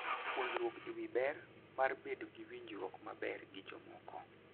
Puonjruok e wi ber mar bedo gi winjruok maber gi jomoko.